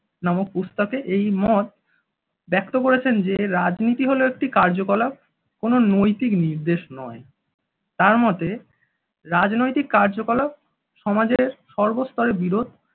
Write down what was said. নামক পুস্তকে এই মত ব্যক্ত করেছেন যে, রাজনীতি হলো একটি কার্যকলাপ কোনো নৈতিক নির্দেশ নয় তার মতে রাজনৈতিক কার্যকলাপ সমাজের সর্বস্তরে বিরোধ।